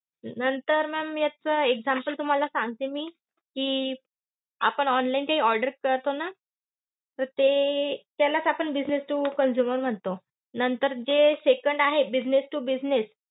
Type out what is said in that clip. नंतर ma'am याच अं example तुम्हाला सांगते मी कि, अं आपण online काही order करतो ना तर ते अं तर त्यालाच आपण business to consumer म्हणतो. नंतर जे second आहे business to business,